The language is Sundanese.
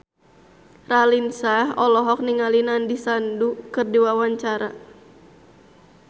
Raline Shah olohok ningali Nandish Sandhu keur diwawancara